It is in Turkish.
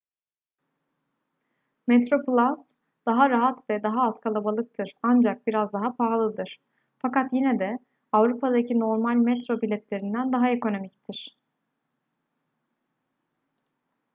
metroplus daha rahat ve daha az kalabalıktır ancak biraz daha pahalıdır fakat yine de avrupa'daki normal metro biletlerinden daha ekonomiktir